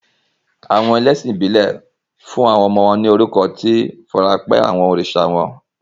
Àwọn oní ẹ̀sìn ìbílẹ̀ fún àwọn ọmọ wọn ní orúkọ tó farapẹ́ àwọn oríṣà wọn.